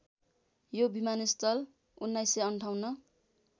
यो विमानस्थल १९५८